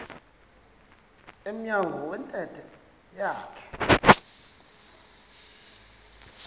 emnyango wentente yakhe